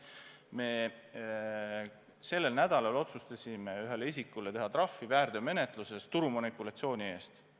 Me sellel nädalal otsustasime ühele isikule väärteomenetluses teha trahvi turumanipulatsiooni eest.